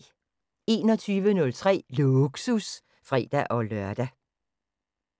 21:03: Lågsus (fre-lør)